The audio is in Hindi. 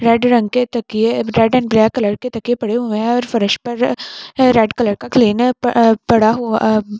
रेड रंग के तकिए रेड एंड ब्लैक कलर के तकिए पड़े हुए हैं और फर्श पर रेड कलर का क्लीनर पड़ा हुआ --